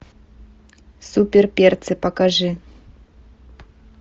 супер перцы покажи